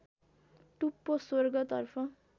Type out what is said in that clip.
टुप्पो स्वर्गतर्फ